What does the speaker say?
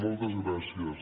moltes gràcies